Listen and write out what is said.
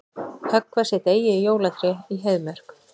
Höggva sitt eigið jólatré í Heiðmörk